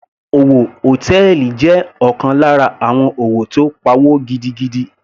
Òwò hòtẹ́ẹ̀lì jẹ́ ọ̀kan lára àwọn òwò tó pawó gidigidi.